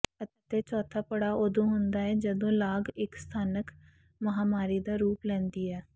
ਅਤੇ ਚੌਥਾ ਪੜਾਅ ਉਦੋਂ ਹੁੰਦਾ ਹੈ ਜਦੋਂ ਲਾਗ ਇੱਕ ਸਥਾਨਕ ਮਹਾਂਮਾਰੀ ਦਾ ਰੂਪ ਲੈਂਦੀ ਹੈ